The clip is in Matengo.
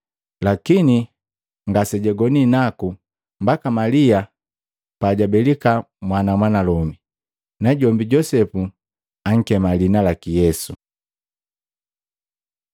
Lakini ngasejagoni naku mbaka Malia pajabelika mwana mwanalomi. Najombi Josefu ankema liina laki Yesu.